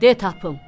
De tapım."